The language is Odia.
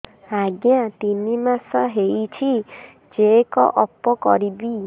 ଆଜ୍ଞା ତିନି ମାସ ହେଇଛି ଚେକ ଅପ କରିବି